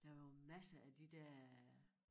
Der var jo masser af de der øh